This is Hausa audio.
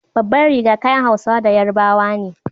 Babbar riga kayan Hausawa da Yarabawa ne.